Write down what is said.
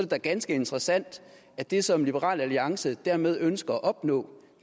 da ganske interessant at det som liberal alliance dermed ønsker at opnå